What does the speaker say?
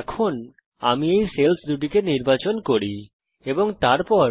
এখন আমি যদি এই সেল্স দুটিকে নির্বাচন করি এবং তারপর